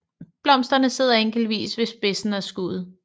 Blomsterne sidder enkeltvis ved spidsen af skuddet